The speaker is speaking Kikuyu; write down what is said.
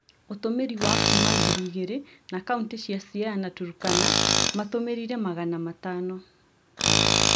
Ũtũmĩri wa kuuma ngiri igĩre na kauntĩ cia Siaya na Turkana matũmĩrire Magana matano